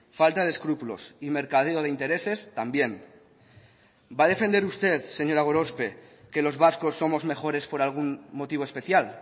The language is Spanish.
falta de escrúpulos y mercadeo de intereses también va a defender usted señora gorospe que los vascos somos mejores por algún motivo especial